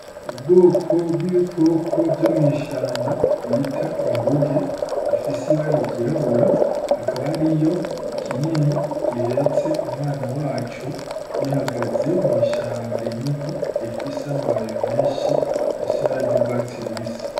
Ubwoko bw'ibikoko vyo mw'ishamba bita inguge bifise ibaragirabura hakaba ari yo kinini gihetse umwana wacu bihagaze mw'ishamba rinini rifise amabaye menshi asibararya urwatsirubisi.